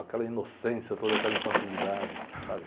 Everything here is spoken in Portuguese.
Aquela inocência toda, aquela infantilidade, sabe?